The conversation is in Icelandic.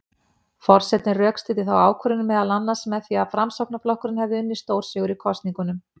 Forsetinn rökstuddi þá ákvörðun meðal annars með því að Framsóknarflokkurinn hefði unnið stórsigur í kosningunum.